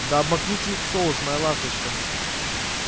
да обмакните их в соус моя ласточка